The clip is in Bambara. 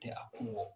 Tɛ a kun bɔ